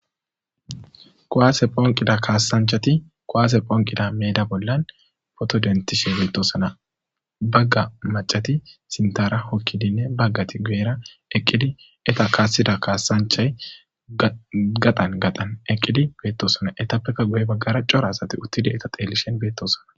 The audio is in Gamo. Koaase phonqida kaassanchati qoaase phonqida meeda bollan fotodentishe beettosona bagga macati sintara hokkidinne baggati gu'era eqqidi eta kaassida kaassanchay gaqan gaxan eqqidi beettosona etappeka guye baggara cora asati uttidi eta teelishen beettosona.